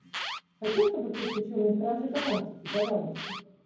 хочу чтобы ты включила мне стражи галактики пожалуйста